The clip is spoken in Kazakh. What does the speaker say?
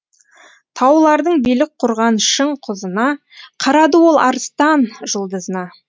таулардың билік құрған шың құзына қарады ол арыстан жұлдызына